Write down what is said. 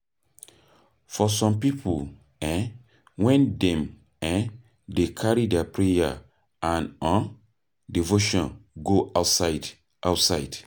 For some pipo, um when dem um dey carry their prayer and um devotion go outside outside